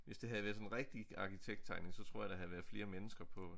Hvis det havde været sådan rigtig arkitekttegnet så tror jeg der havde været flere mennesker på